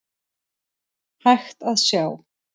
hægt að sjá.